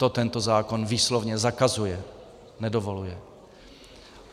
To tento zákon výslovně zakazuje, nedovoluje.